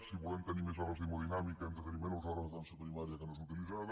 si volem tenir més hores d’hemodinàmica hem de tenir menys hores d’atenció primària que no és utilitzada